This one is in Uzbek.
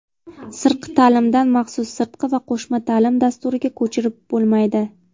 Sirtqi taʼlimdan maxsus sirtqi va qo‘shma taʼlim dasturiga ko‘chirib bo‘lmaydi.